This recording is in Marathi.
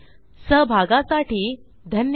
सहभागाबद्दल धन्यवाद